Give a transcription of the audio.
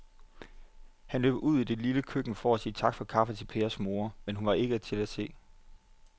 Han løb ud i det lille køkken for at sige tak for kaffe til Pers kone, men hun var ikke til at se.